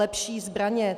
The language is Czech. Lepší zbraně.